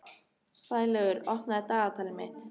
Sælaugur, opnaðu dagatalið mitt.